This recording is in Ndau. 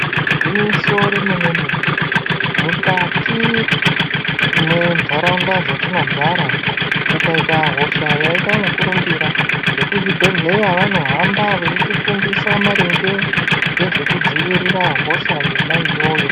Igwinyiso remene-mene mukati mwendaraunda dzatinogara kukaita hosha yaita mukurumbira vekuzvibhedhlera vanohamba veyiti fundisa maringe ngezve kudzivirira hosha yona iyoyo.